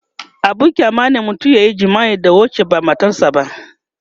abun kyama ne mutum yayi jima'i da wacce ba matar sa ba